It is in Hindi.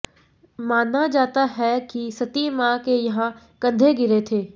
माना जाता है कि सती मां के यहां कंधे गिरें थे